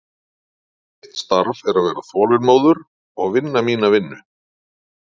Mitt starf er að vera þolinmóður og vinna mína vinnu.